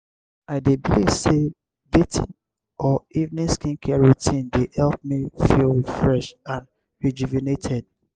i dey believe say bathing or evening skincare routine dey help me feel refreshed and rejuvenated.